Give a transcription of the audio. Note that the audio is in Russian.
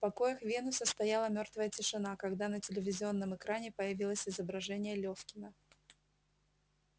в покоях венуса стояла мёртвая тишина когда на телевизионном экране появилось изображение лефкина